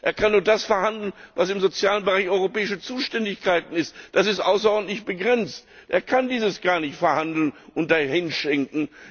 Er kann nur das verhandeln, was im sozialen Bereich europäische Zuständigkeit ist, und das ist außerordentlich begrenzt. Er kann dies gar nicht verhandeln und dahinschenken.